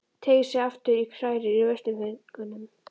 Teygir sig aftur í og hrærir í veisluföngunum.